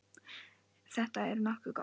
Þetta er nokkuð gott.